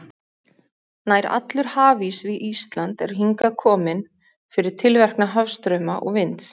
Nær allur hafís við Ísland er hingað kominn fyrir tilverknað hafstrauma og vinds.